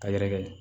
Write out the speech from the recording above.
Ka yɛrɛkɛ